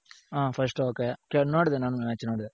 ಹ first ok. ನೋಡ್ದೆ ನಾನು match ನೋಡ್ದೆ